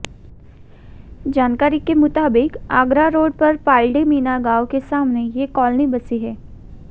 जानकारी के मुताबिक आगरा रोड पर पालड़ी मीणा गांव के सामने ये कॉलोनी बसी है